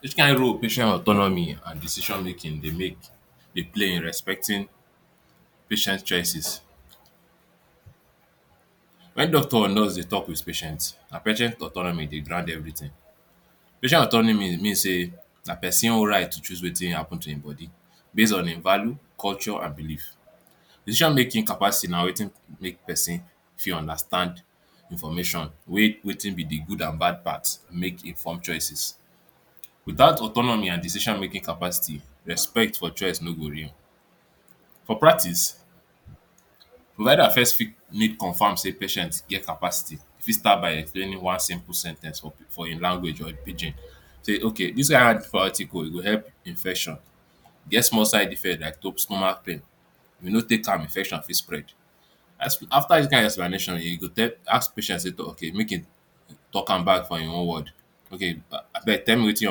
Which kind role patient autonomy and decision making dey make, dey play in respecting patient choices. When doctor and nurse dey talk with patient, na patient autonomy dey grant everything. Patient autonomy means sey na person right to choose wetin happen to em body base on em value, culture and believe. Decision making capacity na wetin make person fit understand information wey wetin be de good and bad part make in form choices. without autonomy and decision making capacity, respect for choice no go real. For practice, provider first fit make confirm sey patient get capacity e fit start by explaining one simple sen ten ce for him language or pidgin, sey ok dis one hard for article e go help infection get small side effect like top stomach pain, if you no take time infection fit spread as after dis kind explanation you go tell ask patient toh make him talk am back for him own word ok, abeg tell me wetin you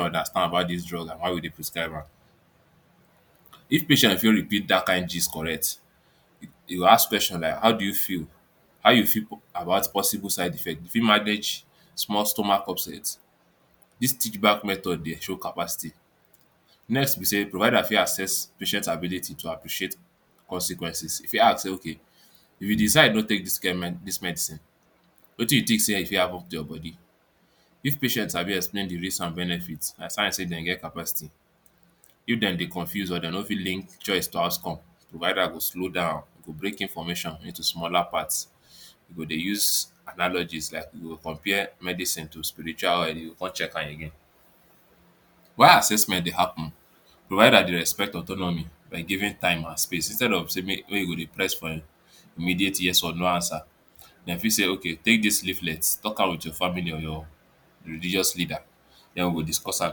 understand about dis drugs about how you dey prescribe am, if patient fit repeat dat kind gist correct, you go ask questions like how do you feel, how you feel about possible side effect, you fit manage small stomach upset? dis teach back method dey show capacity. Next be sey, provider fit access patient ability to appreciate consequences. If you ask sey, ok if de decide no take dis kind um medicine wetin you think sey e fit happen to your body, if patient sabi explain de risks and benefit na sign sey dem get capacity, if dem dey confuse or dem no fit link choice to outcome, provider go slow down go break information into smaller parts e go dey use analogies like e go compare medicine to spiritual and you go come check am again. why assessment dey happen provider de respect autonomy by giving time and space instead of sey make e go dey press for immediate yes or no answer, dem fit sey ok take dis leaflet talk am with your family or religious leader den we go discuss am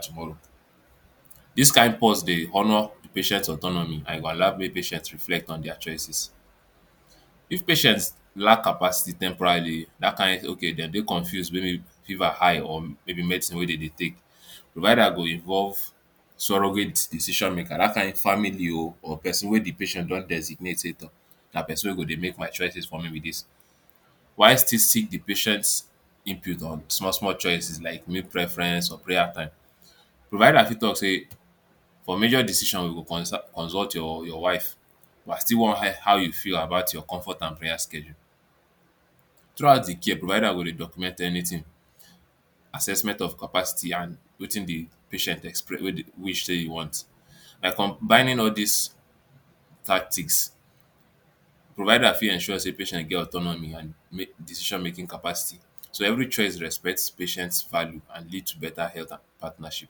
tomorrow dis kind pause de honor de patient autonomy and e go allow make patient reflect on their choices. if patient lack capacity temporarily dat kind ok dem dey confuse maybe fever high or maybe medicine wey dem dey take, provider go involve surrogate decision maker dat kind family o um or person wey de patient don designate sey tor na person wey go dey make my choices for me be dis why still seek de patient input on small small choices like meal preference or prayer time, provider fit talk sey for major decision we go consult your wife but I still wan hear how you feel about your comfort and prayer schedule throughout de care provider go dey document anything assessment of capacity and wetin de patient express wish sey e want by combining all these tactics. provider fit ensure sey patient get autonomy and decision making capacity so every choice respect patient value and lead to better health and partnership.